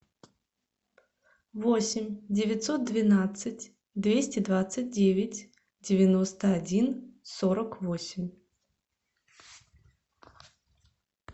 восемь девятьсот двенадцать двести двадцать девять девяносто один сорок восемь